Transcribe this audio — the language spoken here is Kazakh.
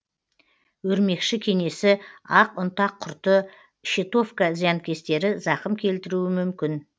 өрмекші кенесі ақ ұнтақ құрты щитовка зиянкестері зақым келтіруі мүмкін